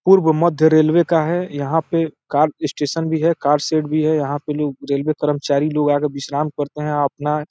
पूर्व मध्य रेलवे का है। यहाँ पे कार स्टेशन भी है कार शेड भी है। यहाँ पे लोग रेलवे करमचारी लोग आके विश्राम करते हैं। अपना --